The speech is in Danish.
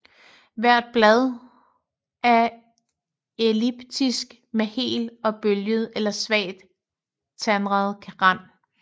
Hvert bladt er elliptisk med hel og bølget eller svagt tandet rand